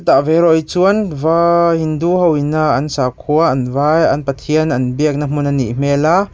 tah ve erawh hi chuan vai hindu hoin a an sakhua an va an pathian an biakna hmun anih hmel a.